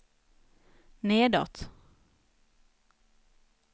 nedåt